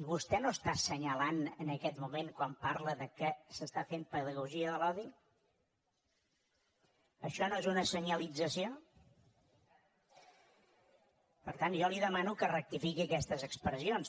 i vostè no està assenyalant en aquest moment quan parla que s’està fent pedagogia de l’odi això no és una senyalització per tant jo li demano que rectifiqui aquestes expressions